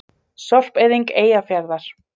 Sorpeyðing Eyjafjarðar.